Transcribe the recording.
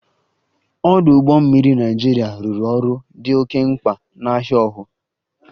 Ọdụ ụgbọ mmiri Naịjirịa rụrụ ọrụ dị oke mkpa na ahia ohu